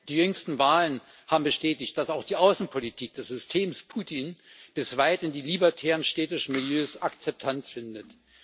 Die jüngsten Wahlen haben bestätigt, dass auch die Außenpolitik des Systems Putin bis weit in die libertären städtischen Milieus Akzeptanz findet.